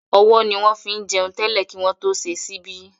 Ọwọ́ ni wọ́n fín jẹun tẹ́lẹ̀ kí wọ́n tó ṣe ṣíbí